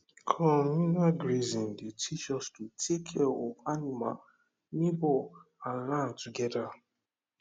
communal grazing dey teach us to take care of animal neighbour and land together